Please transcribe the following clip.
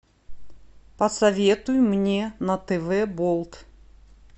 посоветуй мне на тв болт